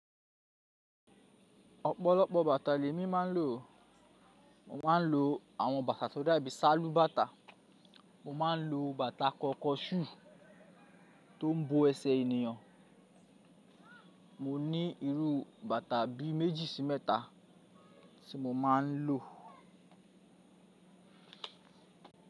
Ọ̀pọ̀lọpọ̀ bàtà lẹ́mi maa ń lò. Mo maa ń lo àwọn bàtà tó dàbí sálù bàtà. Mo maa ń lo bàtà kọnkọṣú tó ń bo ẹsẹ̀ ènìyàn. Mo ní irú bàtà bí méjì sí mẹ́ta tí mo maa ń lò.